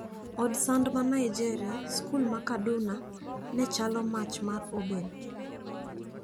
Od sand ma Nigeria: Skul ma Kaduna ne chalo' mach mar obel'.